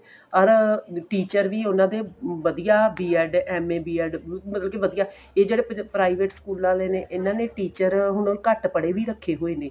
or teacher ਵੀ ਉਨਾਂ ਦੇ ਵਧੀਆ B ED M.A B ED ਮਤਲਬ ਕੀ ਵਧੀਆ ਇਹ ਜਿਹੜੇ private ਸਕੂਲਾ ਵਾਲੇ ਨੇ ਇੰਨਾ ਨੇ teacher ਘੱਟ ਪੜ੍ਹੇ ਵੀ ਰੱਖੇ ਹੋਏ ਨੇ